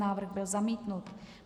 Návrh byl zamítnut.